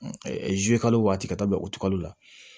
kalo waati ka taa bɛn o tigakali la